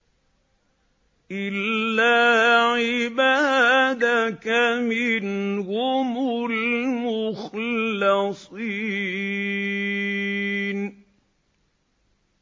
إِلَّا عِبَادَكَ مِنْهُمُ الْمُخْلَصِينَ